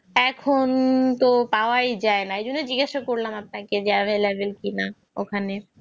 এখন তো পাওয়াই যায় না এজন্য জিজ্ঞাসা করলাম available কিনা